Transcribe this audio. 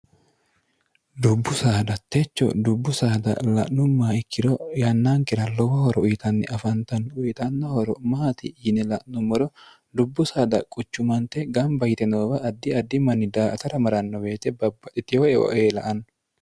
dubbu saada techo dubbu saada la'nummaa ikkiro yannaankera lowo horo uyitanni afantanno uyitanno horo maati yine la'nummoro dubbu saada quchumante gamba yite noowa addi addi manni daa''atara maranno weete babbaxxitewo eo ee la''anno